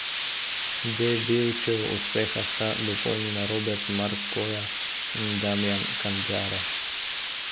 Debevčev uspeh sta dopolnila Robert Markoja in Damjan Kandare.